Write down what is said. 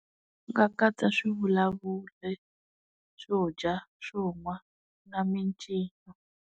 U nga katsa swi vulavuri, swo dya, swo nwa na mincino.